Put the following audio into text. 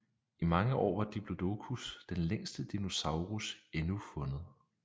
I mange år var Diplodocus den længste dinosaurus endnu fundet